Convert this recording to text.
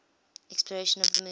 exploration of the moon